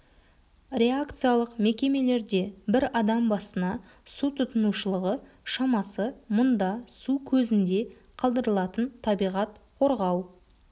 реакциялық мекемелерде бір адам басына су тұтынушылығы шамасы мұнда су көзінде қалдырылатын табиғат қорғау